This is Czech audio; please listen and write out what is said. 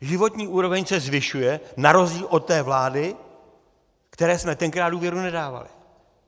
Životní úroveň se zvyšuje na rozdíl od té vlády, které jsme tenkrát důvěru nedávali.